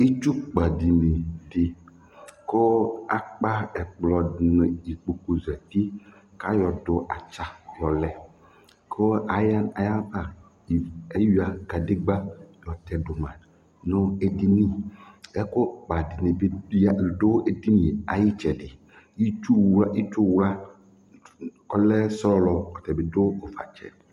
Itsukpadini dɩ kʋ akpa ɛkplɔ nʋ ikpokuzati kʋ ayɔdʋ atsa yɔlɛ kʋ aya ayava ivu eyuǝ kadegbǝ yɔtɛ dʋ ma nʋ edini Ɛkʋkpa dɩnɩ ya dʋ edini yɛ ayʋ ɩtsɛdɩ Itsuwla itsuwla kʋ ɔlɛ sɔlɔ, ɔta bɩ dʋ ʋvatsɛ